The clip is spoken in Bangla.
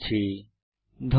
অংশগ্রহনের জন্য ধন্যবাদ